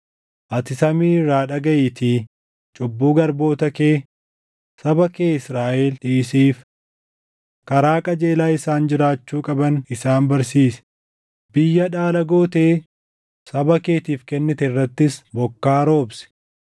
ati samii irraa dhagaʼiitii cubbuu garboota kee, saba kee Israaʼel dhiisiif. Karaa qajeelaa isaan jiraachuu qaban isaan barsiisi; biyya dhaala gootee saba keetiif kennite irrattis bokkaa roobsi.